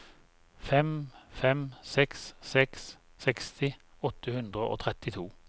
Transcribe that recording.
fem fem seks seks seksti åtte hundre og trettito